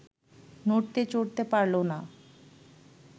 নড়তে চড়তে পারল না